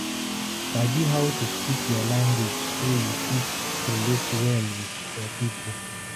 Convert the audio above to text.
sabi how to speak your language so you fit relate well with your people